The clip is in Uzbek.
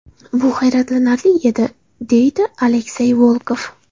Bu hayratlanarli edi”, deydi Aleksey Volkov.